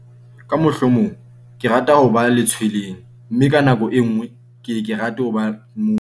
ka mohlomong ke rata ho ba letshweleng mme ka nako e nngwe ke ye ke rate ho ba mong